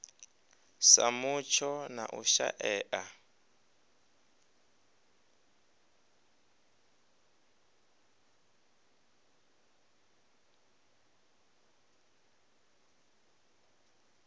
sa mutsho na u shaea